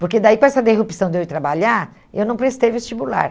Porque daí, com essa derrupção de eu ir trabalhar, eu não prestei vestibular.